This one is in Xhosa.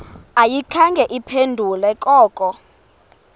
ayikhange iphendule koko